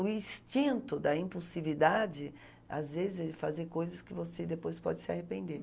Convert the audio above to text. O instinto da impulsividade, às vezes, é fazer coisas que você depois pode se arrepender.